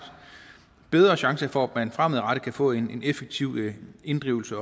bedre chance for at man fremadrettet kan få en effektiv inddrivelse